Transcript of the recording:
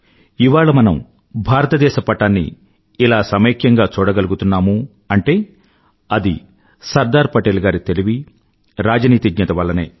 ఇవాళ మనం భారతదేశ పటాన్ని ఇలా సమైక్యంగా చూడకలుగుతున్నాము అంటే అది సర్దార్ పటేల్ గారి తెలివి రాజనీతిజ్ఞత వల్లనే